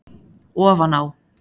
Ofan á